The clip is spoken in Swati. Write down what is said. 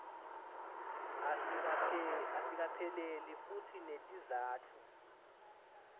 asikapheleli futsi netizatfu